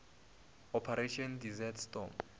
operation desert storm